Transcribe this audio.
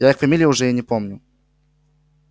я их фамилии уже и не помню